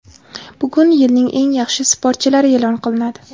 Bugun yilning eng yaxshi sportchilari e’lon qilinadi.